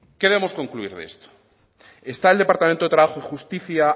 qué debemos concluir de esto está el departamento de trabajo y justicia